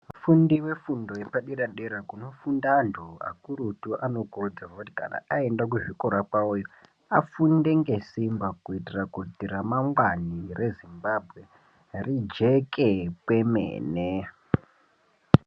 Vafundi vefundo yepadera dera kunofunda antu akurutu vanokurudzirwe kuti kana aenda kuzvikora kwawoyo vafunde ngesimba kuitira kuti ramangwana reZimbabwe rijeke kwemene.